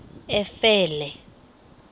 efele